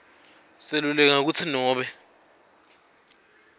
seluleka kutsi nobe